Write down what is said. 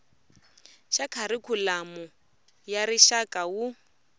xa kharikhulamu ya rixaka wu